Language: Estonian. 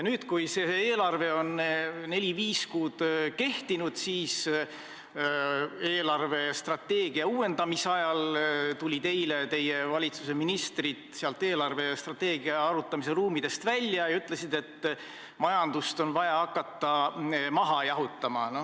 Nüüd, kui see eelarve on neli-viis kuud kehtinud, tulid eelarvestrateegia uuendamise ajal teie valitsuse ministrid strateegia arutamise ruumidest välja ja ütlesid, et majandust on vaja hakata maha jahutama.